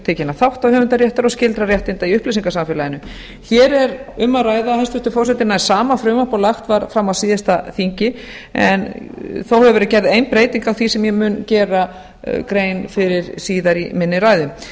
tiltekinna þátta höfundaréttar og skyldra réttinda í upplýsingasamfélaginu hér er um að ræða hæstvirtur forseti nær sama frumvarp og lagt var fram á síðasta þingi en þó hefur verið gerð ein breyting á því sem ég mun gera grein fyrir síðar í minni ræðu